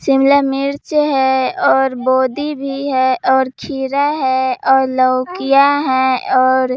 शिमला मिर्च है और बोधी भी है और खीरा है और लौकियां हैं और --